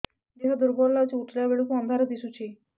ଦେହ ଦୁର୍ବଳ ଲାଗୁଛି ଉଠିଲା ବେଳକୁ ଅନ୍ଧାର ଦିଶୁଚି